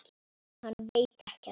Hann veit ekkert.